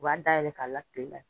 U b'a dayɛlɛ k'a la kile la.